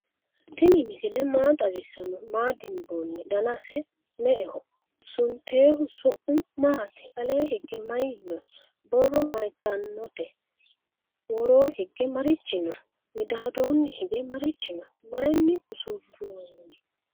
tinni misile maa xawisano? maa dinboni? dannasi me"eho? suntehu su'mi matti? alle hige mayi no?borro mayitaeote wooro hige marichi no?miidaddoni hige maarichi no?mayini usuroni?